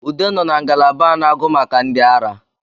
Ude nọ na ngalaba a na-agụ maka ndi ara